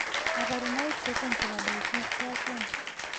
kabarunaik choton chebo Diffuse ko achon ?